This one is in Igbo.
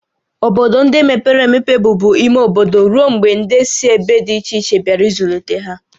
Obodo ndị mepere emepe bụbu ime obodo ruo mgbe ndị si ebe dị iche iche bịara ịzụlite ha